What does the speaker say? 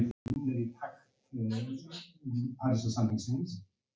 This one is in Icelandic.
Æfir þú með aðalliðinu?